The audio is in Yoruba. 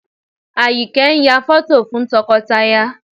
Àyìnkẹ́ ń yà fọ́tò fún tọkọtaya